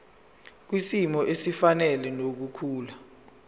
kwisimo esifanele nokukhula